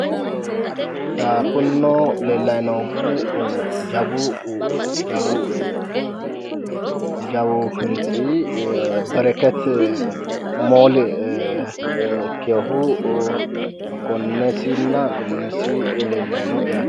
Kunino leellayi noohu jawu jawu hintsi bereketi moole ikkiwohu gonnesinna gonnesi leellayi no yaate.